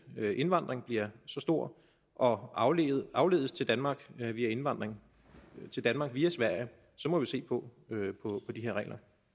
indvandring bliver så stor og afledes afledes til danmark via indvandring til danmark via sverige må vi se på de her regler